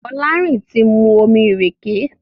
Folarin tí mu omí ìrèké.